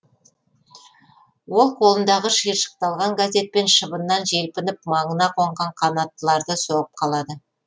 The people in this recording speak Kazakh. ол қолындағы шиыршықталған газетпен шыбыннан желпініп маңына қонған қанаттыларды соғып қалады